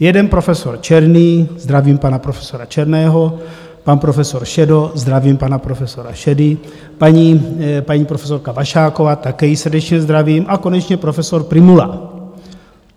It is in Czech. Jeden, profesor Černý, zdravím pana profesora Černého, pan profesor Šedo, zdravím pana profesora Šedu, paní profesorka Vašáková, také ji srdečně zdravím, a konečně profesor Prymula.